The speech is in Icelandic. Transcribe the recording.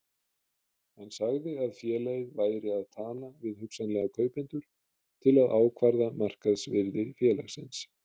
Hann sagði að félagið væri að tala við hugsanlega kaupendur til að ákvarða markaðsvirði félagsins.